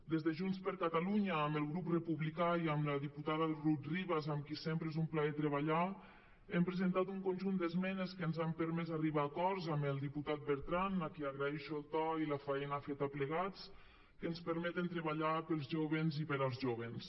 des de junts per catalunya amb el grup republicà i amb la diputada rut ribas amb qui sempre és un plaer treballar hem presentat un conjunt d’esmenes que ens han permès arribar a acords amb el diputat bertran a qui agraeixo el to i la faena feta plegats que ens permeten treballar pels jóvens i per als jóvens